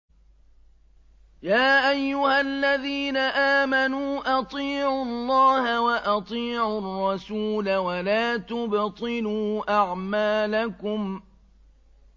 ۞ يَا أَيُّهَا الَّذِينَ آمَنُوا أَطِيعُوا اللَّهَ وَأَطِيعُوا الرَّسُولَ وَلَا تُبْطِلُوا أَعْمَالَكُمْ